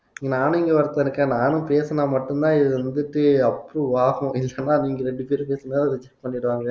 நானும் இங்க ஒருத்தன் இருக்கேன் நானும் பேசுனா மட்டும்தான் இதுவந்துட்டு approve ஆகும் usual அ நீங்க ரெண்டு